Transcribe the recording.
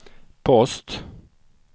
post